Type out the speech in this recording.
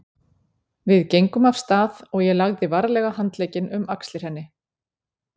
Við gengum af stað og ég lagði varlega handlegginn um axlir henni.